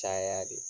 Caya de